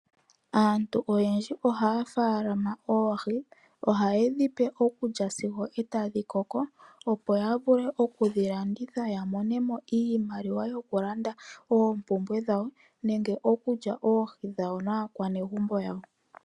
Aantu oyendji ohaya faalama oohi, ohaye dhipe okulya sigo tadhi koko, opo ya vule oku dhi landitha ya monemo iimaliwa yo kulanda oopumbwe dhawo nenge okulya oohi dhawo naa kwanegumbo yawo.